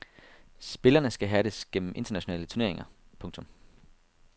Spillerne skal hærdes gennem internationale turneringer. punktum